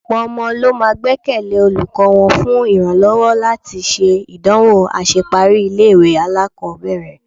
Ọ̀pọ̀ ọmọ ló máa gbẹ́kẹ̀lé olùkọ́ wọn fún ìrànlọ́wọ́ láti ṣe ìdánwò àṣeparí ilé-ìwé alákọ̀ọ́bẹ̀rẹ̀..